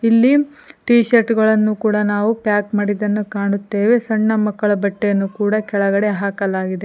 ಇಲ್ಲಿ T shirt ಗಳನ್ನು ಕೂಡ ನಾವು ಪ್ಯಾಕ್ ಮಾಡಿದ್ದನ್ನು ಕಾಣುತ್ತೇವೆ ಸಣ್ಣ ಮಕ್ಕಳ ಬಟ್ಟೆಯನ್ನು ಕೂಡ ಕೆಳಗೆ ಹಾಕಲಾಗಿದೆ.